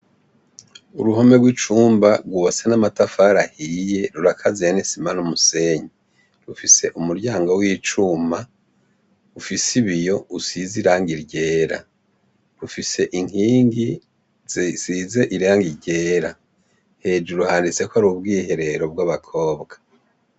Uruhome rw'icumba rwubatse n'amatafari ahiye rurakaziye n'isima n'umusenyi, rufise umuryango w'icuma ufise ibiyo usize irangi ryera, rufise inkingi zisize irangi ryera, hejuru handitse ko ari ubwiherero bw'abakobwa.